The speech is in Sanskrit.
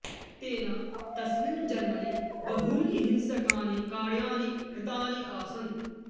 तेन तस्मिन् जन्मनि बहूनि हिंसकानि कार्याणि कृतानि आसन्